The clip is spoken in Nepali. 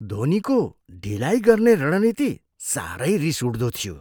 धोनीको ढिलाइ गर्ने रणनीति साह्रै रिसउठ्दो थियो।